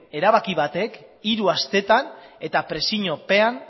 erabaki batek hiru astetan eta presiopean